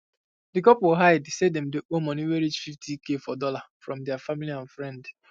d couple hide say dem dey owe moni wey reach fifty k for dollar from deir family and friend